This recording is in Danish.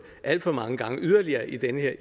det alt for mange gange yderligere i den her